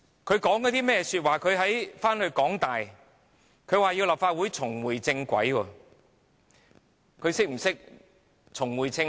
他回去香港大學演講，說立法會要重回正軌，他是否懂得何謂重回正軌？